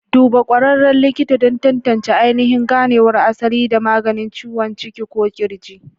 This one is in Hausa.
Duba ƙwararren likita don tantance ainihin ganewar asali da maganin ciwon ciki ko ƙirji.